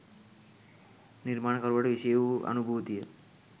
නිර්මාණකරුවාට විෂය වූ අනුභූතිය